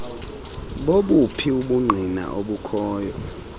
bobuphi ubungqina obukhoyo